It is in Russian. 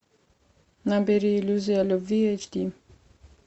набери иллюзия любви аш ди